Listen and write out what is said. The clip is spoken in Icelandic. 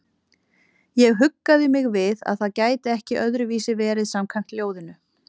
Ég huggaði mig við að það gæti ekki öðruvísi verið samkvæmt ljóðinu.